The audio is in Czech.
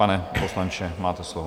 Pane poslanče, máte slovo.